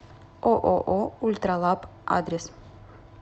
ооо ультралаб адрес